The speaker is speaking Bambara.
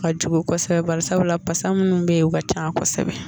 Ka jugu kosɛbɛ baari sabula basa munnu bɛ yen o ka can kosɛbɛ.